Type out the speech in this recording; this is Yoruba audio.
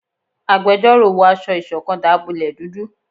Àgbẹjọró wọ aṣọ ìṣọ̀kan dábọlẹ dúdú